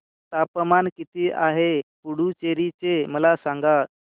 तापमान किती आहे पुडुचेरी चे मला सांगा